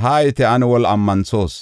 “Haayite; ane woli ammanthoos.